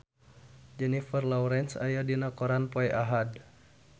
Jennifer Lawrence aya dina koran poe Ahad